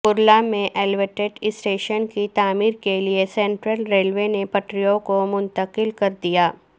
کرلا میں elevated station کی تعمیر کے لئےسینٹرل ریلوے نے پٹریوں کو منتقل کردیا